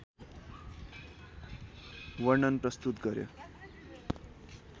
वर्णन प्रस्तुत गर्‍यो।